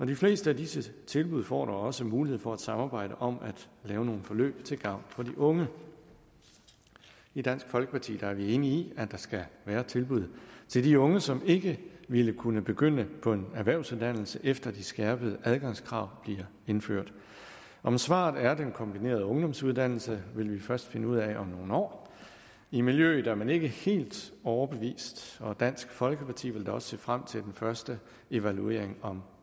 de fleste af disse tilbud får da også mulighed for at samarbejde om at lave nogle forløb til gavn for de unge i dansk folkeparti er vi enige i at der skal være tilbud til de unge som ikke ville kunne begynde på en erhvervsuddannelse efter de skærpede adgangskrav bliver indført om svaret er den kombinerede ungdomsuddannelse vil vi først finde ud af om nogle år i miljøet er man ikke helt overbevist og dansk folkeparti vil da også se frem til den første evaluering om